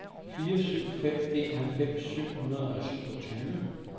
fire syv fem en halvfems syv hundrede og syvogtyve